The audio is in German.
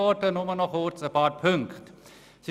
Ich möchte nur kurz auf einige Punkte eingehen.